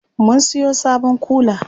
Mun siyo sabon kula.